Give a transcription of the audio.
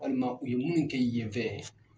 Walima u ye mun kɛ yen fɛ